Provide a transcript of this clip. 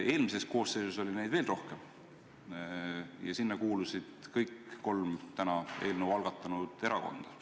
Eelmises koosseisus oli neid veel rohkem ja sinna kuulusid kõik kolm tänase eelnõu algatanud erakonda.